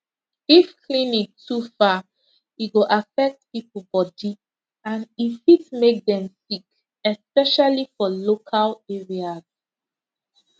if clinic too far e go affect people body and e fit make dem sick especially for local areas